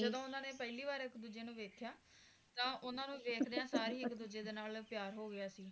ਜਦੋਂ ਓਹਨਾ ਨੇ ਪਹਿਲੀ ਵਾਰ ਇੱਕ ਦੂਜੇ ਨੂੰ ਦੇਖਿਆ ਤਾ ਓਹਨਾ ਨੂੰ ਵੇਖਦਿਆਂ ਸਾਰ ਹੀ ਇੱਕ ਦੂਜੇ ਨਾਲ ਪਿਆਰ ਹੋ ਗਿਆ ਸੀ